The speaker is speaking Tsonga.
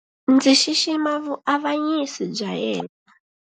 Ndzi xixima vuavanyisi bya yena.